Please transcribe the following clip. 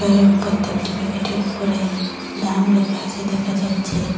এর প্রত্যেকটি প্যাকেটের উপরে দাম লেখা আছে দেখা যাচ্ছে।